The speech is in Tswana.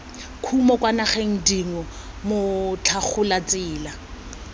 kumo kwa dinageng dingwe motlhagolatsela